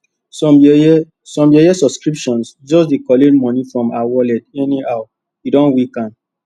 some yeye some yeye subscription just dey collect money from her wallet anyhow e don weak am